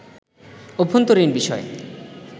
অভ্যন্তরীণ বিষয়